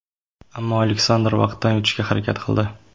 Ammo Aleksandr vaqtdan yutishga harakat qildi.